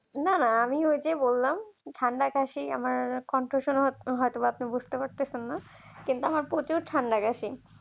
না না আমি ওই যে বললাম ঠান্ডা কাশি আমার বুঝতে পারছেন না কিন্তু আমার প্রচুর ঠান্ডা লেগেছে।